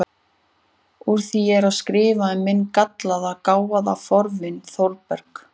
Úr því ég er að skrifa um minn gallaða, gáfaða fornvin Þórberg